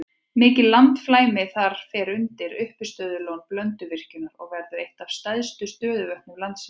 Mikið landflæmi þar fer undir uppistöðulón Blönduvirkjunar og verður eitt af stærstu stöðuvötnum landsins.